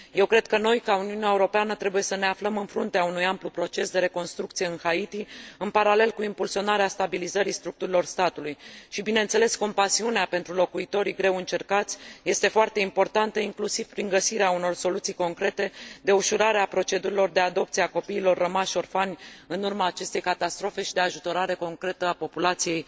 Eu cred că noi, ca Uniune Europeană, trebuie să ne aflăm în fruntea unui amplu proces de reconstrucție în Haiti, în paralel cu impulsionarea stabilizării structurilor statului și, bineînțeles, compasiunea pentru locuitorii greu încercați este foarte importantă, inclusiv prin găsirea unor soluții concrete de ușurare a procedurilor de adopție a copiilor rămași orfani în urma acestei catastrofe și de ajutorare concretă a populației